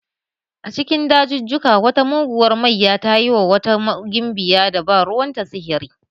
A cikin dajujjuka, wata muguwar mayya ta yi wa wata gimbiyan da ba ruwanta sihiri.